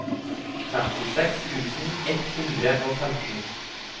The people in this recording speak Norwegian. femtiseks tusen ett hundre og femten